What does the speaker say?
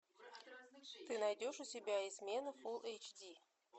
ты найдешь у себя измена фулл эйч ди